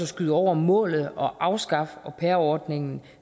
skyde over målet at afskaffe au pair ordningen